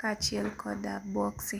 kaachiel kod boxi.